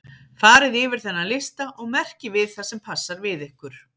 Farið yfir þennan lista og merkið við það sem passar við ykkur.